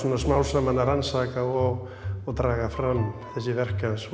smám saman að rannsaka og og draga fram þessi verk hans